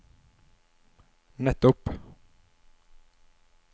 nettopp